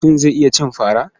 Mutum zai iya cin fara.